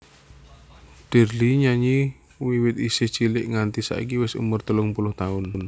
Dirly nyanyi wiwit isih cilik nganti saiki wis umur telung puluh taun